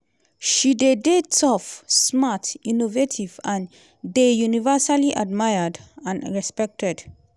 "she dey dey tough smart innovative and dey universally admired and respected".